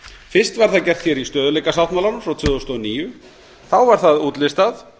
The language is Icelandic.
fyrst var það gert hér í stöðugleikasáttmálanum frá tvö þúsund og níu þá var það útlistað